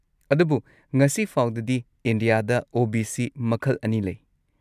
ꯑꯗꯨꯕꯨ ꯉꯁꯤꯐꯥꯎꯗꯗꯤ, ꯏꯟꯗꯤꯌꯥꯗ ꯑꯣ.ꯕꯤ.ꯁꯤ. ꯃꯈꯜ ꯑꯅꯤ ꯂꯩ꯫